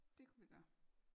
Det kunne vi gøre